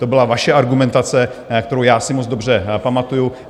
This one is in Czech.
To byla vaše argumentace, kterou já si moc dobře pamatuju.